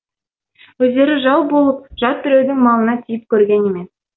өздері жау болып жат біреудің малына тиіп көрген емес